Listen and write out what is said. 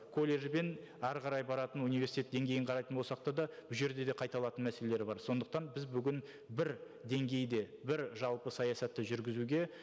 колледж бен әрі қарай баратын университет деңгейін қарайтын болсақ та да бұл жерде де қайталанатын мәселелер бар сондықтан біз бүгін бір деңгейде бір жалпы саясатты жүргізуге